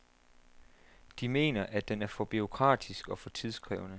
De mener, at den er for bureaukratisk og for tidskrævende.